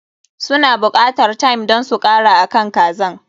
Su na buƙatan thyme don su kara akan kazan.